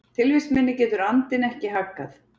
Tilvist minni getur andinn ekki haggað.